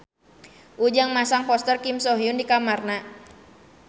Ujang masang poster Kim So Hyun di kamarna